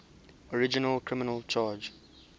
original criminal charge